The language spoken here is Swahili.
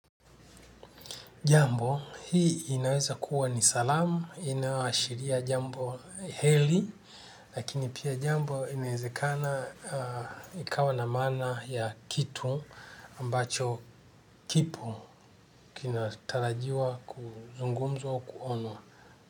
Jambo hii inaweza kuwa ni salamu, inayoashiria jambo heli, lakini pia jambo inaezakana ikawa na maana ya kitu ambacho kipo kinatarajiwa kuzungumzwa au kuonwa.